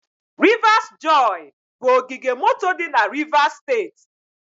Rivers joy bụ ogige moto dị na Rivers steeti.